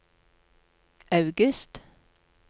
august